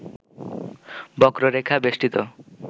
বক্ররেখা বেষ্টিত